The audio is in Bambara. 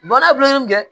Baara bilen kɛ